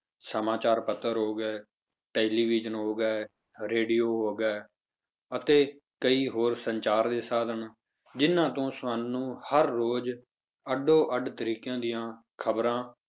ਸਮਾਚਾਰ ਪੱਤਰ ਹੋ ਗਏ television ਹੋ ਗਏ radio ਹੋ ਗਏ ਅਤੇ ਕਈ ਹੋਰ ਸੰਚਾਰ ਦੇ ਸਾਧਨ ਜਿੰਨਾਂ ਤੋਂ ਸਾਨੂੰ ਹਰ ਰੋਜ਼ ਅੱਡੋ ਅੱਡ ਤਰੀਕਿਆਂ ਦੀਆਂ ਖ਼ਬਰਾਂ,